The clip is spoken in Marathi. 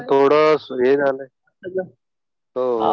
आता थोडं हे झालंय. हो.